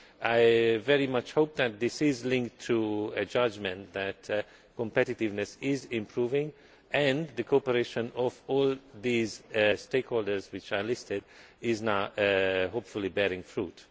I very much hope that this is linked to a judgment that competitiveness is improving and the operation of all these stakeholders which are listed is now hopefully bearing fruit.